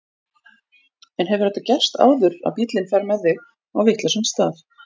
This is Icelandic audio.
En hefur þetta gerst áður að bíllinn fer með þig á vitlausan stað?